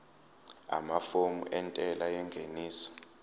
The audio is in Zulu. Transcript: amafomu entela yengeniso